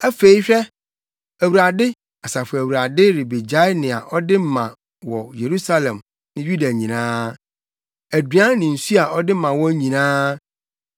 Afei hwɛ, Awurade, Asafo Awurade, rebegyae nea ɔde ma wɔ Yerusalem ne Yuda nyinaa: aduan ne nsu a ɔde ma wɔn nyinaa.